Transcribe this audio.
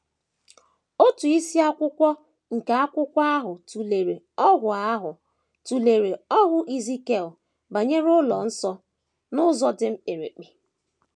Otu isiakwụkwọ nke akwụkwọ ahụ tụlere ọhụụ ahụ tụlere ọhụụ Ezikiel banyere ụlọ nsọ, n’ụzọ dị mkpirikpi.